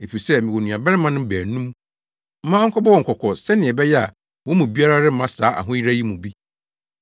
efisɛ mewɔ nuabarimanom baanum. Ma ɔnkɔbɔ wɔn kɔkɔ sɛnea ɛbɛyɛ a wɔn mu biara remma saa ahoyeraw yi mu bi.’